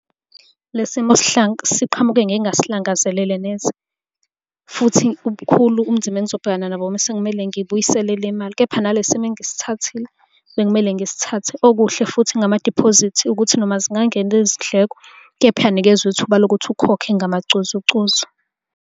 Le simo siqhamuke ngingasilangazelele neze, futhi kubukhulu ubunzima engizobhekana nabo uma sekumele ngibuyisele le mali, kepha nale simo engisithathile bekumele ngisithathe. Okuhle futhi ngamadiphozithi ukuthi noma zingangena izindleko, kepha uyanikezwe ithuba lokuthi ukhokhe ngamacozucozu.